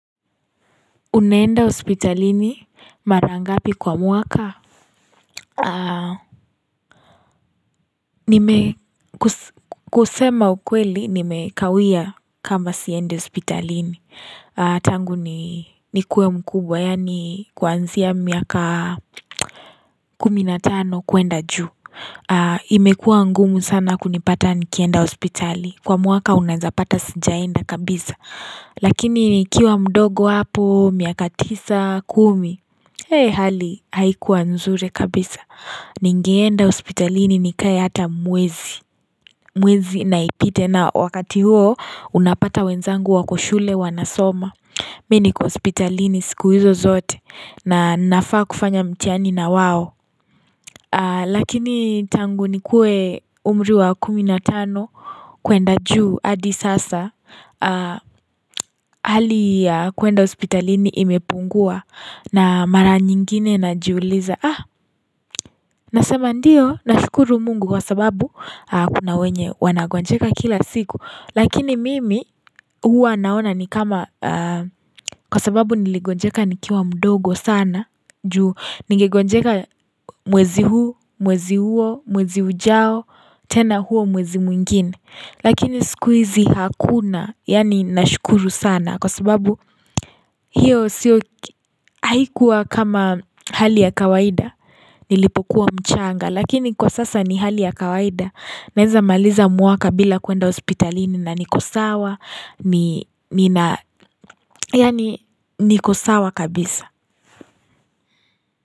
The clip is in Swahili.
Unaenda hospitalini mara ngapi kwa muaka? Kusema ukweli, nimekawia kama siende hospitalini. Tangu nikuwe mkubwa, yani kuanzia miaka kumi na tano kuenda juu. Imekua ngumu sana kunipata nikienda hospitali. Kwa muaka unazapata sijaenda kabisa. Lakini nikiwa mdogo hapo, miaka tisa, kumi. Hei hali haikuwa nzuri kabisa. Ningeenda hospitalini nikai hata mwezi. Mwezi naipite na wakati huo unapata wenzangu wako shule wanasoma. Mi niko hospitalini siku hizo zote nanafa kufanya mtihani na wawo Lakini tangu nikuwe umri wa kuminatano kuenda juu adi sasa Hali ya kuenda hospitalini imepungua na mara nyingine najiuuliza Nasema ndiyo nashukuru mungu kwa sababu kuna wenye wanagonjeka kila siku Lakini mimi, huwa naona ni kama, kwa sababu niligonjeka nikiwa mdogo sana, juu ningegonjeka mwezi huu, mwezi huo, mwezi ujao, tena huo mwezi mwingine. Lakini sikuizi hakuna, yani nashukuru sana, kwa sababu hiyo siyo haikuwa kama hali ya kawaida, nilipokuwa mchanga. Lakini kwa sasa ni hali ya kawaida Naeza maliza muaka bila kuenda hospitalini na ni kusawa niko sawa kabisa.